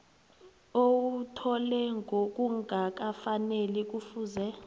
owuthole ngokungakafaneli kufuze